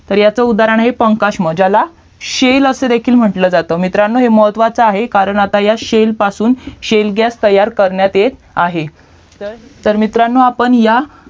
तर ह्याचा उदाहरण आहे पंखास्म ह्याला CELL असा देखील म्हंटलं जातं मित्रांनो हे महत्वाचा आहे कारण आता ह्या CELL पासून CELL GAS तयार करण्यात येत आहे तर मित्रांनो आपण ह्या